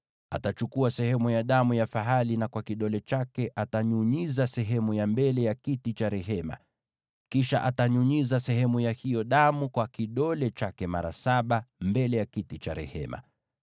Atachukua sehemu ya damu ya fahali, na kwa kidole chake atanyunyiza sehemu ya mbele ya kiti cha rehema; kisha atanyunyiza sehemu ya hiyo damu kwa kidole chake mara saba mbele ya kiti cha rehema.